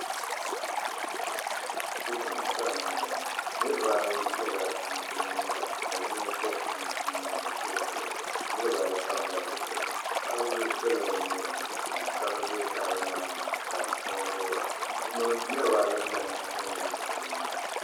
Bipuɣinsi anahi niriba ayi yɛla chinchini liiga ka yino bɔbi chinchini o zuɣu. Niriba ayi pamla bɛ zuɣu. Tahabila bela bɛ nuu ni ka shiŋkaafa be tahabila maa ni ka bɛ ŋubira. Niriba ayi lami ka nyili bɛ nyina.